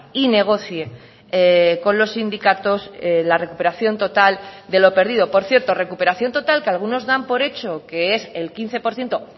y negocie con los sindicatos la recuperación total de lo perdido por cierto recuperación total que algunos dan por hecho que es el quince por ciento